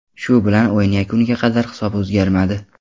Shu bilan o‘yin yakuniga qadar hisob o‘zgarmadi.